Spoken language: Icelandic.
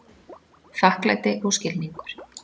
Þakklæti og skilningur